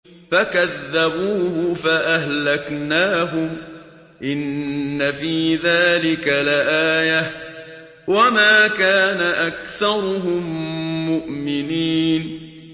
فَكَذَّبُوهُ فَأَهْلَكْنَاهُمْ ۗ إِنَّ فِي ذَٰلِكَ لَآيَةً ۖ وَمَا كَانَ أَكْثَرُهُم مُّؤْمِنِينَ